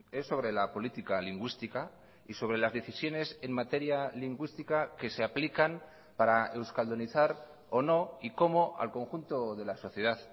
es sobre la política lingüística y sobre las decisiones en materia lingüística que se aplican para euskaldunizar o no y cómo al conjunto de la sociedad